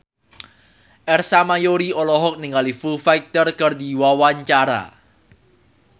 Ersa Mayori olohok ningali Foo Fighter keur diwawancara